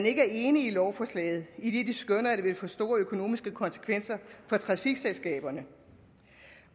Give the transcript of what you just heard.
ikke er enige i lovforslaget idet de skønner at det vil få store økonomiske konsekvenser for trafikselskaberne